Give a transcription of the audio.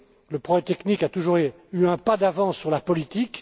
réalité. Le progrès technique a toujours eu un pas d'avance sur la